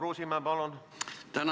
Peeter Ernits, palun!